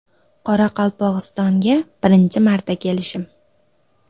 Qoraqalpog‘istonga birinchi marta kelishim.